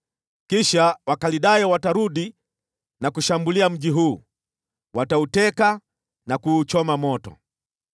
Kisha Wakaldayo watarudi na kushambulia mji huu, watauteka na kuuchoma moto.’